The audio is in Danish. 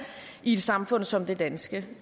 i et samfund som det danske